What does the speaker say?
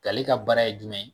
Ale ka baara ye jumɛn ye?